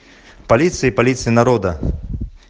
полиция полиция народа